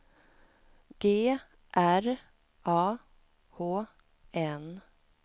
G R A H N